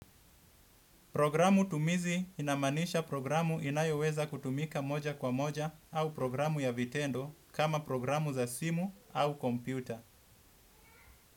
Programu tumizi inamanisha programu inayoweza kutumika moja kwa moja au programu ya vitendo kama programu za simu au kompyuta.